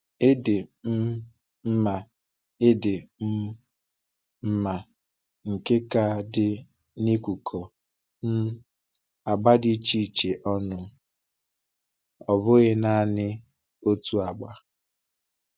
Ịdị um mma Ịdị um mma nke nka dị n’ịkụkọ um agba di iche iche ọnụ, ọ bụghị naanị otu agba.